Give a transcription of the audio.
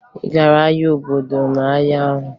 Ị gara ahịa obodo ụnyaahụ?